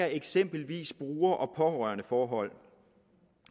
eksempelvis bruger og pårørendeforhold